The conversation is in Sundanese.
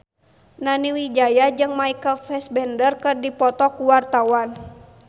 Nani Wijaya jeung Michael Fassbender keur dipoto ku wartawan